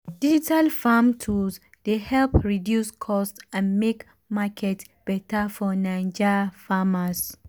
digital farm tools dey help reduce cost and make market beta for naija farmers.